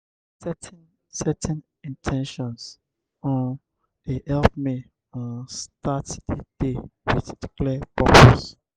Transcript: setting setting in ten tions um dey help me um start the day with clear purpose.